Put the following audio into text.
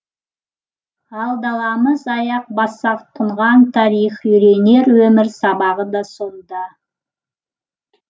ал даламыз аяқ бассақ тұнған тарих үйренер өмір сабағы да сонда